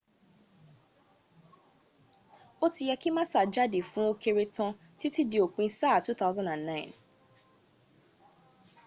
ó ti yẹ kí massa jáde fún ókéré tán títí di òpin sáà 2009